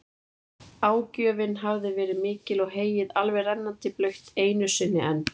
Ágjöfin hafði verið mikil og heyið alveg rennandi blautt einu sinni enn.